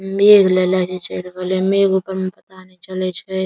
मेघ लेले जे चल गैले मेघ ऊपर में पता ने चले छै।